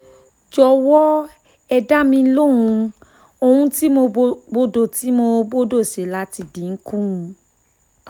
jọ̀wọ́ ẹ dá mi lóhùn ohun tí mo gbọdọ̀ tí mo gbọdọ̀ ṣe láti dín in kù